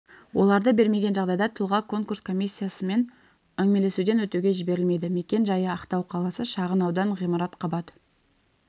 оларды бермеген жағдайда тұлға конкурс комиссиясымен әңгімелесуден өтуге жіберілмейді мекен-жайы ақтау қаласы шағын аудан ғимарат қабат